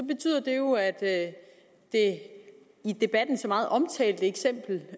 betyder det jo at det i debatten så meget omtalte eksempel